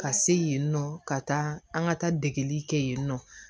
Ka se yen nɔ ka taa an ka taa degeli kɛ yen nɔ